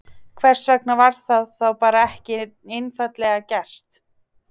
Hvers vegna var það þá bara ekki einfaldlega gert?